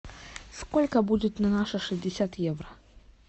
сколько будет на наши шестьдесят евро